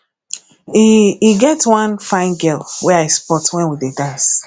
e e get one fine girl wey i spot wen we dey dance